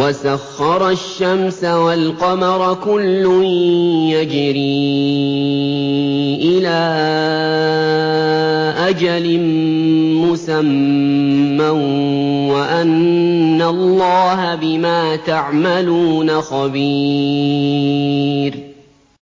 وَسَخَّرَ الشَّمْسَ وَالْقَمَرَ كُلٌّ يَجْرِي إِلَىٰ أَجَلٍ مُّسَمًّى وَأَنَّ اللَّهَ بِمَا تَعْمَلُونَ خَبِيرٌ